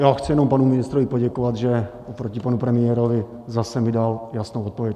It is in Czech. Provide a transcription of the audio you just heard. Já chci jenom panu ministrovi poděkovat, že oproti panu premiérovi zase mi dal jasnou odpověď.